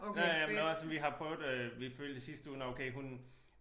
Ja ja men også vi har prøvet øh vi følte i sidste uge nåh okay hun